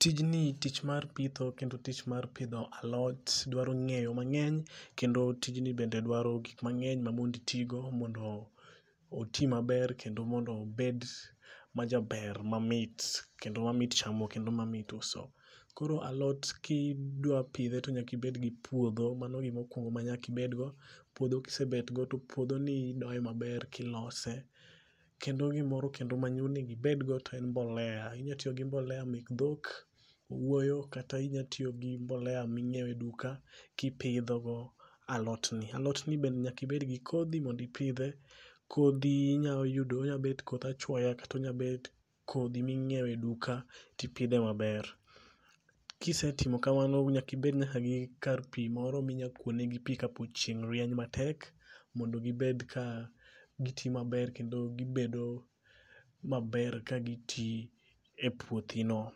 Tijni tich mar pitho kendo tich mar pidho alot dwaro ng'eyo mang'eny kendo tijni bende dwaro gik mang'eny ma monditigo mondo oti maber kendo mondo obed majaber mamit kendo mamit chamo kendo mamit uso. Koro alot kidwa pidhe to nyaka ibed gi puodho, mano gimokwongo manyaka ibedgo. Puodho kisebetgo to puodhoni idoye maber kilose kendo gimoro kendo maonego ibedgo to en mbolea, inyatiyo gi mbolea mek dhok, owuoyo kata inya tiyogi mbolea minyieo e duka kipidho alotni. Alotni bende nyaka ibedgi kodhi mondi ipidhe. Kodhi onyabet koth achwoya kata onyabet kodhi minyieo e duka tipidhe maber. Kisetimo kamano, nyaka ibed nyaka gi kar pi moro minyakwonegi pi kapo chieng' rieny matek mondo gibed ka giti maber kendo gibedo maber ka giti e puothino.